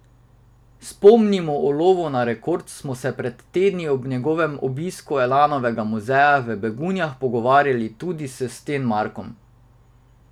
Spomnimo, o lovu na rekord smo se pred tedni ob njegovem obisku Elanovega muzeja v Begunjah pogovarjali tudi s Stenmarkom.